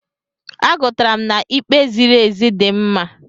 Agụrụtara m na'ikpe ziri ezi dị mma.